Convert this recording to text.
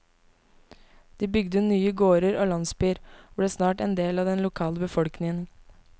De bygde nye gårder og landsbyer, og ble snart en del av den lokale befolkning.